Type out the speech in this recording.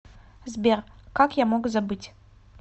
сбер как я мог забыть